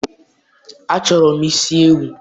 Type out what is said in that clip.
achọrọ m isi ewu.